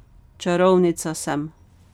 Čarovnica sem.